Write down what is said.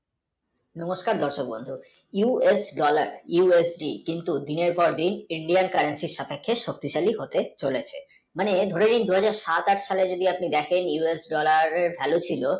মাধ্যমে US মানে USD কিন্তু দিনের পর দিন Indian currency এর সাথে সব কিছু হতে চলেছে even, then সাত আট সালে যদি দেখেন US dollar এর value ছিলো।